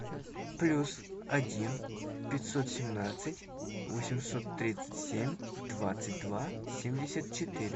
плюс один пятьсот семнадцать восемьсот тридцать семь двадцать два семьдесят четыре